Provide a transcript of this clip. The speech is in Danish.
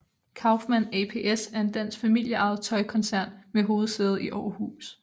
Kaufmann APS er en dansk familieejet tøjkoncern med hovedsæde i Aarhus